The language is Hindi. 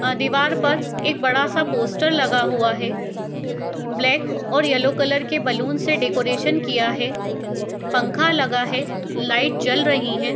आ दीवार पर एक बड़ा-सा पोस्टर लगा हुआ है। ब्लैक और येलो कलर के बलून से डेकोरेशन किया है। पंखा लगा है। लाइट जल रही है।